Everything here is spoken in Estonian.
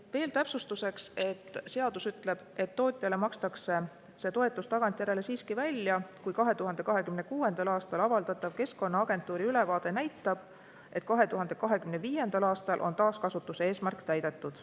Veel täpsustuseks: seadus ütleb, et tootjale makstakse see toetus tagantjärele siiski välja, kui 2026. aastal avaldatav Keskkonnaagentuuri ülevaade näitab, et 2025. aastal on taaskasutuse eesmärk täidetud.